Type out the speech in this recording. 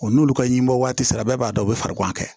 Wa n'olu ka ɲimɔ waati sera bɛɛ b'a dɔn u bɛ farigan kɛ